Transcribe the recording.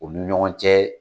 U ni ɲɔgɔn cɛ